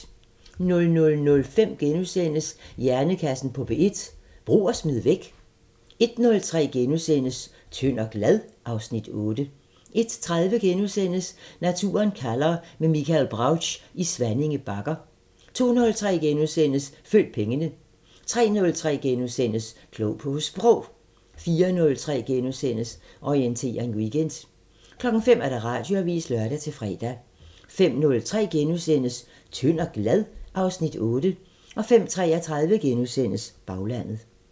00:05: Hjernekassen på P1: Brug og smid væk? * 01:03: Tynd og glad? (Afs. 8)* 01:30: Naturen kalder – med Michael Brautsch i Svanninge Bakker * 02:03: Følg pengene * 03:03: Klog på Sprog * 04:03: Orientering Weekend * 05:00: Radioavisen (lør-fre) 05:03: Tynd og glad? (Afs. 8)* 05:33: Baglandet *